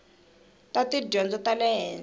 ta tidyondzo ta le henhla